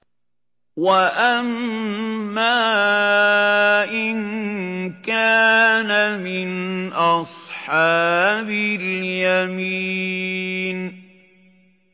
وَأَمَّا إِن كَانَ مِنْ أَصْحَابِ الْيَمِينِ